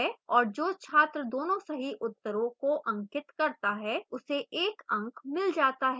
और जो छात्र दोनों सही उत्तरों को अंकित करता है उसे 1 and मिल जाता है